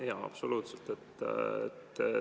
Jaa, absoluutselt.